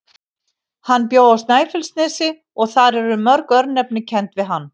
Hann bjó á Snæfellsnesi og þar eru mörg örnefni kennd við hann.